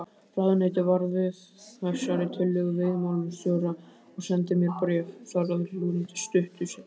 Ráðuneytið varð við þessari tillögu veiðimálastjóra og sendi mér bréf þar að lútandi stuttu seinna.